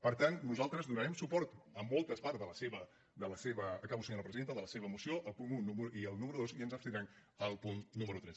per tant nosaltres donarem suport a moltes parts acabo senyora presidenta de la seva moció al punt un i al número dos i ens abstindrem al punt número tres